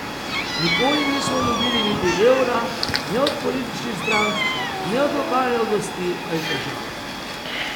Nikoli nismo dobili niti evra ne od političnih strank ne od lokalne oblasti ali države.